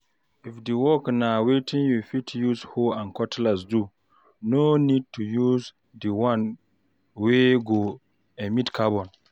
If di work na wetin you fit use hoe and cutlass do, no need to use di one wey go emit carbon